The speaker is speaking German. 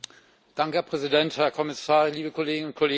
Herr Präsident, Herr Kommissar, liebe Kolleginnen und Kollegen!